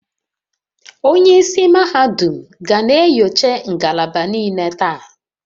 onye isi mahadum ga na-enyocha ngalaba niile taa